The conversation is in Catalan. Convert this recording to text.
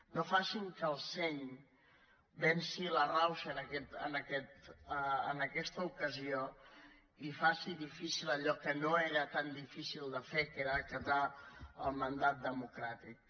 no facin que el seny venci la rauxa en aquesta ocasió i faci difícil allò que no era tan difícil de fer que era acatar el mandat democràtic